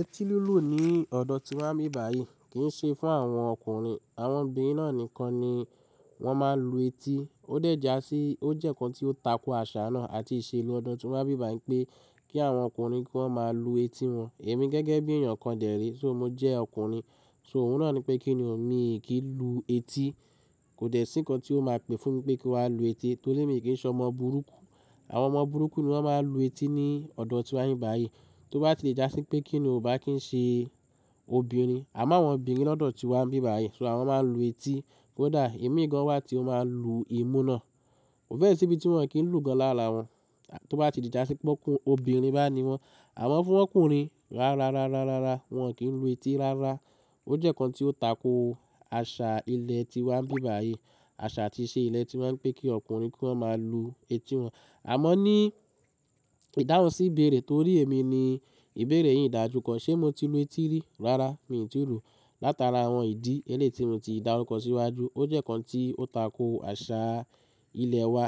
Eti lilù ní ọ̀dọ̀ ti wọ́n bí báyìí kì í ṣe fún àwọn ọkùnrin àwọn obìnrin náà nìkan ni wọ́n máa ń lu etí ó dẹ̀jà sí ó jẹ́ kan tí ó tako àṣà náà àti ìṣelú ọ̀dọ́ tí wọ́n bí báyìí pé kí àwọn ọkùnrin kó máa lu etí wọn. Èmi gẹ́gẹ́ bí èèyàn kan dèré só mo jẹ́ ọkùnrin so òun náà nipé kín nio mi kì í lu etí kò dẹ̀ sí kan tí ó máa pè fún mi pé kí n wá lu etí torí èmi kì í ṣọ ọmọ burúkú. Àwọn ọmọ burúkú ni wọ́n máa ń lu etí ní ọ̀dọ̀ tí wani bí báyìí. Tió bá ti dàsí pé kí ni o bá kì í ṣe obìnrin àmọ́ àwọn obìnrin ní ọ̀dọ̀ tí wọ́n bí báyìí so àwọn máa ń lu etí kódà èmi gan wa tí ó máa lu imú náà. Mo fẹ́ ṣíbí tí wọn kì ń lù gan lára wọn tó bá ti di ìdásí pé ọkùnrin obìnrin bá ni wọ́n àwọn fún ọkùnrin rárá rárá rárá wọ́n kì í lu etí rárá. Ó jẹ́ kan tí ó tako àṣà ilẹ̀ tí wan bí báyìí àṣà àti ìṣe ilẹ̀ tí wáa ń pẹ́ kí ọkùnrin kó máa lu etí wọn. Àmọ́ ní ìdáhùn sí ìbéèrè torí èmi ni ìbéèrè yìí ìdájú kan ṣé mo ti lu etí rí rárá mi ò tí ì lu látara àwọn ìdí eléeti rún ti ìdárù ko síwájú ó jẹ́ kan tí ó tako àṣà ilẹ̀ wa.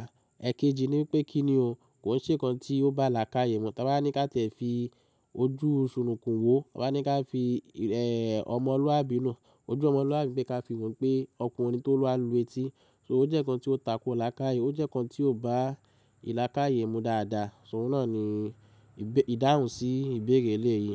Ẹ̀kejì ni pé kí ni o kò ń ṣe kan tí ó bá là ká yẹ̀mú. Tọ́n bá ní ká tẹ̀ fi ojú sunúkùn wò wọ́n bá ní ká fi ọmọlúwàbí na ojú ọmọlúwàbí pé ká fi wọ́n pé ọkùnrin tó bà lu etí so ó jẹ́ kan tí ó tako là ká yẹ̀ ó jẹ́ kan tí ó bá ìlà ká yẹ̀mú dáadáa so òun náà ni ìdàhùn sí ìbéèrè eléèyìí.